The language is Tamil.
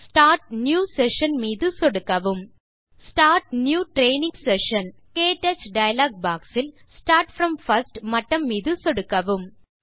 ஸ்டார்ட் நியூ செஷன் மீது சொடுக்கவும் ஸ்டார்ட் நியூ ட்ரெய்னிங் செஷன் - க்டச் டயலாக் boxஇல் Start ப்ரோம் பிர்ஸ்ட் மட்டம் மீது சொடுக்கவும்